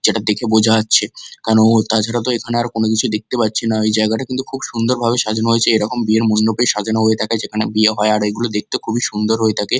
যেটা দেখে বোঝা যাচ্ছে কোনো তাছাড়া তো এখানে কিছু দেখতে পাচ্ছি না এই জায়গাটা কিন্তু খুব সুন্দর করে সাজানো হয়েছে এরমকম বিয়ের মণ্ডপ সাজানো হয় থাকে যেখানে বিয়ে হয়ে থাকে আর এগুলো দেখতে খুবই সুন্দর থাকে।